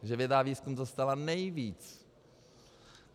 Takže věda a výzkum dostala nejvíc.